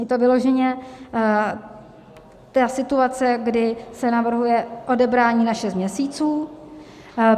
Je to vyloženě ta situace, kdy se navrhuje odebrání na šest měsíců.